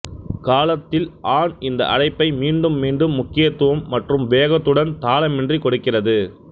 காலத்தில் ஆண் இந்த அழைப்பை மீண்டும் மீண்டும் முக்கியத்துவம் மற்றும் வேகத்துடன் தாளமின்றிக் கொடுக்கிறது